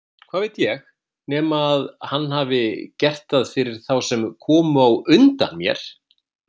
Hvað veit ég, nema hann hafi gert það fyrir þá sem komu á undan mér!